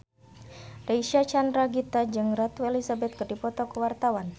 Reysa Chandragitta jeung Ratu Elizabeth keur dipoto ku wartawan